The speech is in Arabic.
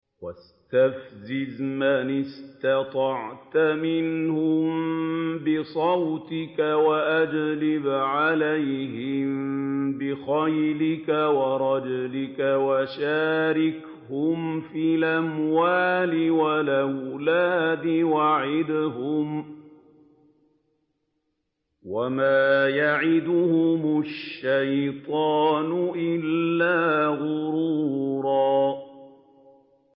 وَاسْتَفْزِزْ مَنِ اسْتَطَعْتَ مِنْهُم بِصَوْتِكَ وَأَجْلِبْ عَلَيْهِم بِخَيْلِكَ وَرَجِلِكَ وَشَارِكْهُمْ فِي الْأَمْوَالِ وَالْأَوْلَادِ وَعِدْهُمْ ۚ وَمَا يَعِدُهُمُ الشَّيْطَانُ إِلَّا غُرُورًا